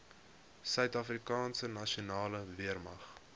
suidafrikaanse nasionale weermag